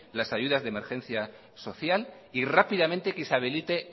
las ayudas de emergencia social y rápidamente que se habilite